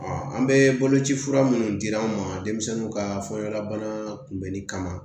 an bɛ bolo ci fura minnu di an ma denmisɛnninw ka fɔla bana kunbɛnni kama